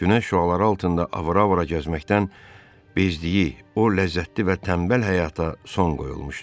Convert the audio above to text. Günəş şüaları altında avara-avara gəzməkdən bezdiyi o ləzzətli və tənbəl həyata son qoyulmuşdu.